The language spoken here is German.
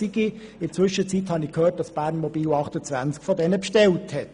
In der Zwischenzeit habe ich gehört, dass BERNMOBIL 28 von diesen bestellt hat.